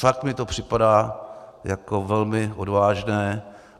Fakt mi to připadá jako velmi odvážné.